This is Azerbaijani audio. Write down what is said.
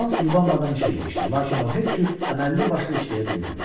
Hans yubanmadan işə girişdi, lakin o heç cür əməlli başlı işləyə bilmirdi.